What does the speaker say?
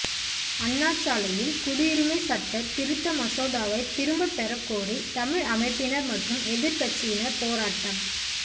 அண்ணாசாலையில் குடியுரிமை சட்டத் திருத்த மசோதாவை திரும்பப் பெறக்கோரி தமிழ் அமைப்பினர் மற்றும் எதிர்க்கட்சியினர் போராட்டம்